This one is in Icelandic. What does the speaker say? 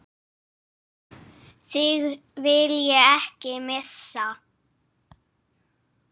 Þig vil ég ekki missa.